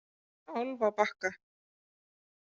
Álfabakka